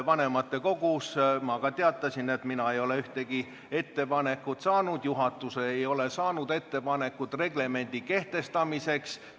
Vanematekogus ma ka teatasin, et mina ei ole ühtegi ettepanekut saanud, et juhatus ei ole saanud ettepanekut reglemendi kehtestamiseks.